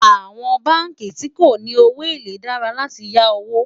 àwọn bánkì tí kò ní owó élè dára là tí yá owó